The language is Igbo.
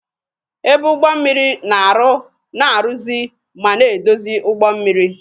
Ebe Ụgbọ mmiri na-arụ, na-arụzi ma na-edozi ụgbọ mmiri.